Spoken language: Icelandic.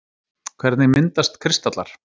Hvernig myndast kristallar?